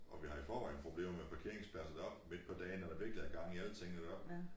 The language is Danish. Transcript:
Og vi har i forvejen problemer med parkeringspladser deroppe midt på dagen når der virkelig er gang i alle tingene deroppe